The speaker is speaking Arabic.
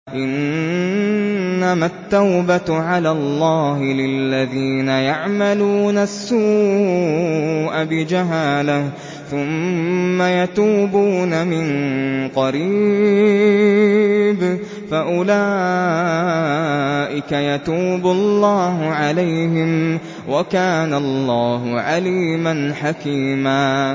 إِنَّمَا التَّوْبَةُ عَلَى اللَّهِ لِلَّذِينَ يَعْمَلُونَ السُّوءَ بِجَهَالَةٍ ثُمَّ يَتُوبُونَ مِن قَرِيبٍ فَأُولَٰئِكَ يَتُوبُ اللَّهُ عَلَيْهِمْ ۗ وَكَانَ اللَّهُ عَلِيمًا حَكِيمًا